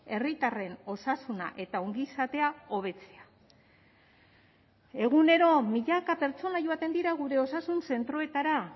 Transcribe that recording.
herritarren osasuna eta ongizatea hobetzea egunero milaka pertsona joaten dira gure osasun zentroetara